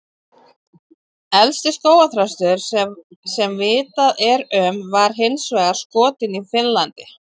Elsti skógarþröstur sem vitað er um var hins vegar skotinn í Finnlandi.